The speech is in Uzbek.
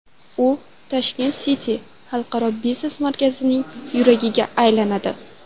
U Tashkent City Xalqaro biznes markazining yuragiga aylanadi.